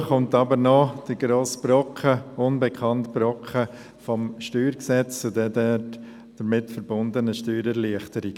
Dazu kommen aber noch der grosse unbekannte Brocken des StG und die damit verbundenen Steuererleichterungen.